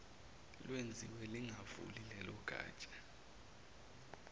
lwenziwe lingavuli lelogatsha